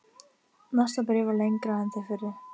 Næsta bréf var lengra en þau fyrri.